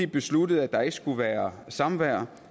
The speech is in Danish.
besluttede at der ikke skulle være samvær